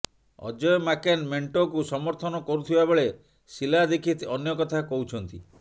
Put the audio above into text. ଅଜୟ ମାକେନ୍ ମେଣ୍ଟକୁ ସମର୍ଥନ କରୁଥିବା ବେଳେ ଶିଲା ଦୀକ୍ଷିତ ଅନ୍ୟ କଥା କହୁଛନ୍ତି